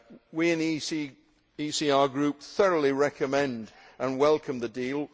We in the ECR Group thoroughly recommend and welcome the deal.